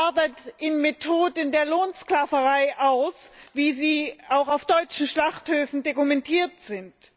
Das artet in Methoden der Lohnsklaverei aus, wie sie auch auf deutschen Schlachthöfen dokumentiert sind.